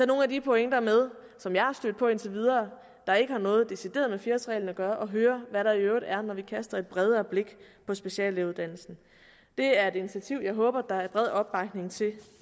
nogle af de pointer med som jeg har stødt på indtil videre der ikke har noget decideret med fire årsreglen at gøre og høre hvad der i øvrigt er når vi kaster et bredere blik på speciallægeuddannelsen det er et initiativ jeg håber der er bred opbakning til